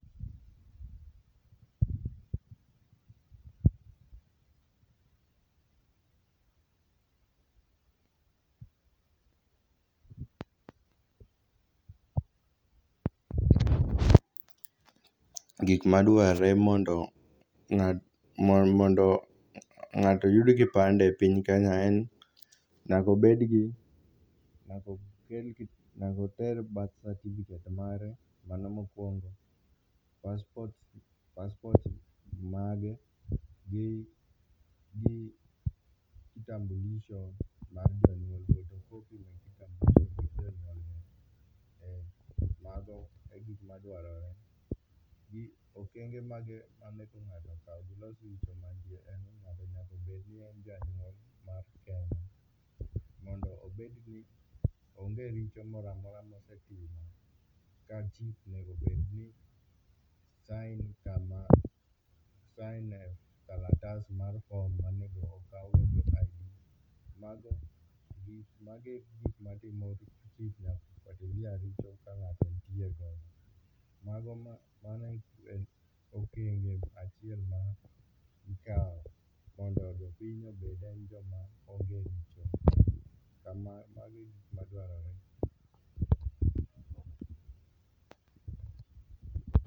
Gik ma dwarre mondo ng'ato oyud kipande e piny Kenya en, nyaka obed gi ,nyaka oter birth certificate mare, mano mokwongo, passport mage, gi kitambulisho mar jonyuolne . photocopies mek kitambulisho mag jonyuolne. Ee mago e gik madwarore.